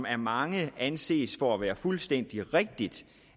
af mange anses for at være fuldstændig rigtigt